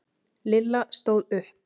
Lilla stóð upp.